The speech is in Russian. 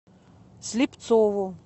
слепцову